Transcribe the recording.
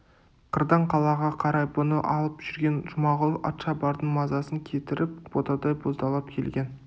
қырдан қалаға қарай бұны алып жүрген жұмағұл атшабардың мазасын кетіріп ботадай боздап келген